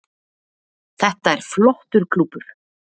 Þetta er flottur klúbbur